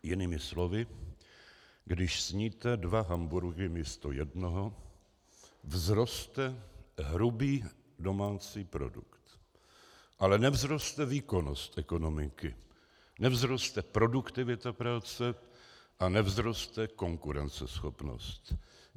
Jinými slovy když sníte dva hamburgry místo jednoho, vzroste hrubý domácí produkt, ale nevzroste výkonnost ekonomiky, nevzroste produktivita práce a nevzroste konkurenceschopnost.